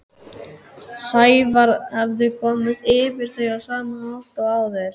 Sævar hafði komist yfir þau á sama hátt og áður.